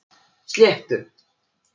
Sléttu